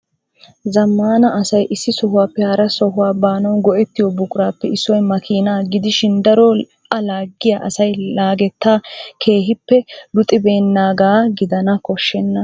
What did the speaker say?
Zamana asay issi sohuwappe hara sohuwaa baanaw go"ettiyo buraqappe issoy makina gidishin daro a laagiyaa asay laageta keehippe luxxibeenaga gidana koshenna.